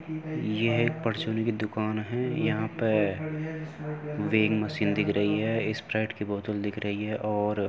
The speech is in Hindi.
यह एक परचून की दुकान है यहाँ पे मशीन दिख रही है स्प्राइट की बोतल दिख रही है और --